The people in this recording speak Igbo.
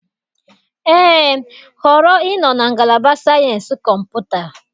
Ee, họrọ ịnọ na Ngalaba Sayensị Kọmputa.